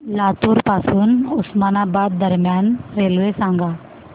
लातूर पासून उस्मानाबाद दरम्यान रेल्वे सांगा